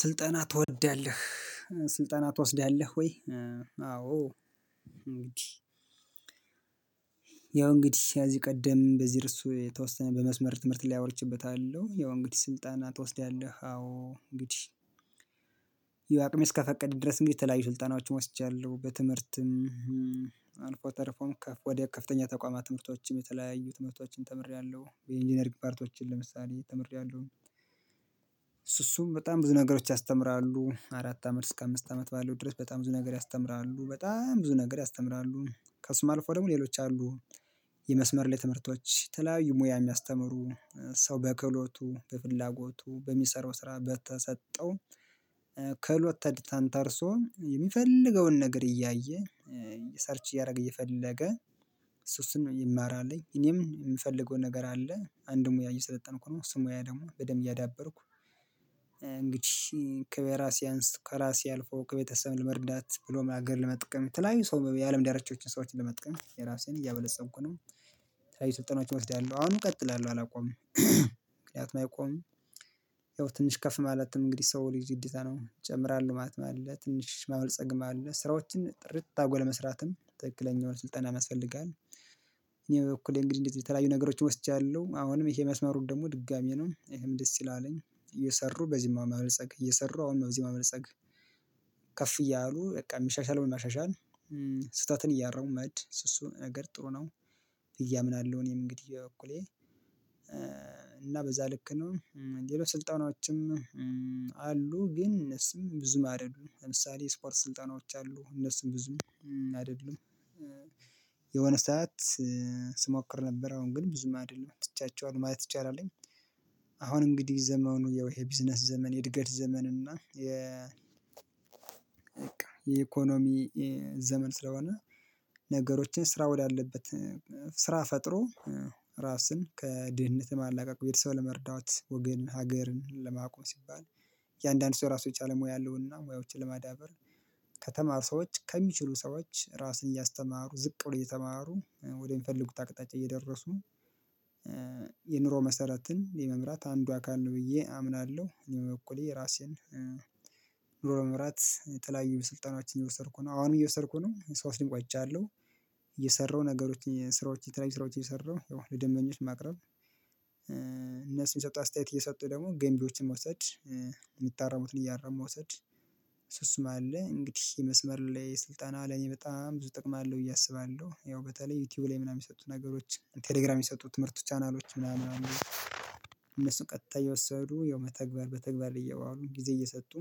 ስልጠና ትወዳለህ ስልጠና ትወስዳለህ ወይ? አዎ እንግዲህ ያው እንግዲህ ከዚህ ቀደም በዚህ እርስ የተወሰነ በመስመር ትምህርት ላይ አውርቼበታለሁ። ያው እንግዲህ ስልጠና ትወስዳለህ አዎ እንግዲህ ያው አቅሜ እስከፈቀድ ድረስ እንግዲህ የተለያዩ ስልጠናዎችን ወስጃለሁ። በትምህርትም ተርፎም ወደ ከፍተኛ ተቋማት ትምህርቶችም የተለያዩ ትምህርቶችን ተምሬያለሁ የኢንጂነሪግ ፓርቶችን ለምሳሌ ተምሬያለሁ። በጣም ብዙ ነገሮች ያስተምራሉ አራት አመት እስከ አምስት አመት ባለው ድረስ በጣም ብዙ ነገር ያስተምራሉ በጣም ብዙ ነገር ያስተምራሉ ከእሱም አልፎ ደግሞ ሌሎች አሉ። የመስመር ላይ ትምህርቶች የተለያዩ ሙያ የሚያስተምሩ ሰው በክህሎቱ በፍላጎቱ በሚሰራው ስራ በተሰጠው ክህሎት ተንተርሶም የሚፈልገውን ነገር እያየ ሰርች እያደረገ እየፈለገ እሱ እሱን ነው የማራልኝ እኔም የምፈልገው ነገር አለ። አንድ ሙያ እየሰለጠንኩ ነው። እሱ ሙያ ደግሞ በደንብ እያዳበርኩ እንግዲህ ከበራ ሲያንስ ከራሴ አልፎ ከቤተሰብ ለመርዳት ብሎም ሀገር ለመጥቀም የተለያዩ ሰው የአለም ዳርቻዎችን ሰዎችን ለመጥቀም የራሴን እያበለጸኩ ነው። የተለያዩ ስልጠናዎችን እወስዳለሁ አሁንም እቀጥላለሁ አላቆምም። ምክንያቱም አይቆምም። ያው ትንሽ ከፍ ማለትም እንግዲህ ሰው ልጅ ግዴታ ነው ይጨምራል ማለት ነው። አለ ትንሽ ማበልጸግም አለ ስራዎችን ጥርት አርጎ ለመስራትም ትክክለኛውን ስልጠናም ያስፈልጋል። እኔ በበኩሌ እንግዲህ እንደዚህ በተለያዩ ነገሮችን ወስጃለሁ አሁንም ይሄ መስመሩን ደግሞ ድጋሚ ነው እኔም ደስ ስላለኝ እየሰሩ በዚህም ማበልጸግ እየሰሩ አሁን በዚህ ማበልጸግ። ከፍ እያሉ በቃ የሚሻሻለውን ማሻሻል ስህተትን እያረሙ መሄድ እሱ እሱ ነገር ጥሩ ነው ብዬ አምናለሁ። እኔም እንግዲህ በበኩሌ እና በዛ ልክ ነው። ሌሎች ስልጠናዎችም አሉ ግን እነሱም ብዙም አይደሉም ለምሳሌ ስፖርት ስልጠናዎች አሉ እነሱም ብዙም አይደሉም። የሆነ ሰዓት ስሞክር ነበረ አሁን ግን ብዙም አይደለም ትቻቸዋለው ማየት ይቻላልኝ። አሁን እንግዲህ ዘመኑ ያው የቢዝነስ ዘመን የእድገት ዘመን እና የ የኢኮኖሚ ዘመን ስለሆነ። ነገሮችን ስራ ወዳለበት ስራ ፈጥሮ ራስን ከድህነት የማላቀቅ ቤተሰብ ለመርዳት ወገን ሀገርን ለማቆም ሲባል እንዳንዱ ሰው ራሱ የቻለው ሙያ አለውና ሙያዎችን ለማዳበር። ከተማሩ ሰዎች ከሚችሉ ሰዎች ራስን እያስተማሩ ዝቅ ብሎ እየተማሩ ወደ ሚፈልጉት አቅጣጫ እየደረሱ መሰረትን የመምራት አንዱ አካል ነው ብዬ አምናለሁ። እኔ እኩሌ ራሴን ኑሮ በመምራት የተለያዩ ስልጠናዎችን እየወሰድኩ ነው። አሁንም እየወሰድኩ ነው ስወስድም ቆይቻለሁ። እየሰራው ነገሮችን ስራዎችን የተለያዩ ስራዎችን እየሰራው ያው ለደንበኞች ማቅረብ። የሰጡ አስተያየት እየሰጡ ደግሞ ገንቢዎችን መውሰድ የሚታረሙትን እያረሙ መውሰድ። እሱ እሱ መሃል ላይ እንግዲህ የመስመር ላይ ስልጠና ለኔ በጣም ብዙ ጥቅም አለው ብዬ አስባለሁ። ያው በተለይ ዩቲዩብ ላይ ምናምን የሚሰጡት ነገሮች ቴሌግራም የሚሰጡ ትምህርት ቻናሎች ምናምን ምናምን አሉ። እነሱን ቀጥታ እየወሰዱ ያው መተግበር በተግባር ላይ እያዋሉ ጊዜ እየሰጡ።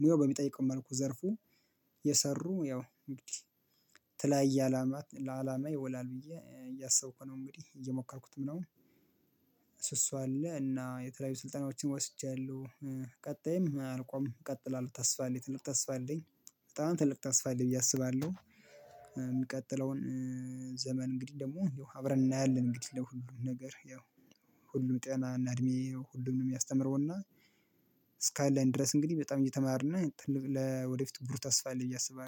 ሙያው በሚጠይቀው መልኩ ዘርፉ የሰሩ ያው እንግዲህ የተለያየ አላማ ለአላማ ይወላል ብዬ እያሰብኩ ነው እንግዲህ እየሞከርኩትም ነው። እሱ እሱ አለ እና የተለያዩ ስልጠናዎችን ወስጃለሁ። ቀጣይም አልቆምም እቀጥላለሁ ተስፋ አለኝ ትልቅ ተስፋ አለኝ በጣም ትልቅ ተስፋ አለኝ ብዬ አስባለሁ። የሚቀጥለውን ዘመን እንግዲህ ደግሞ እንደው አብረን እናያለን። እንግዲህ ለሁሉም ነገር ያው ሁሉ ጤና እና እድሜ ሁሉንም የሚያስተምረውና እስካለን ድረስ እንግዲህ በጣም እየተማርን ለወደፊት ብሩህ ተስፋ አለኝ ብዬ አስባለሁ